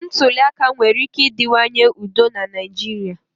Ntuli aka nwere ike ịdịwanye udo na Naịjirịa.